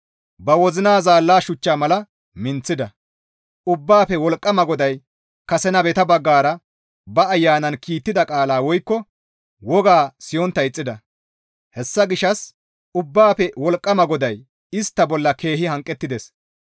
Ba wozina zaalla shuchcha mala minththida; Ubbaafe Wolqqama GODAY kase nabeta baggara ba ayanan kiittida qaalaa woykko woga siyontta ixxida; hessa gishshas Ubbaafe Wolqqama GODAY istta bolla keehi hanqettides.